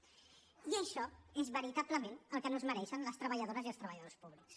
i això és veritablement el que no es mereixen les treballadores i els treballadors públics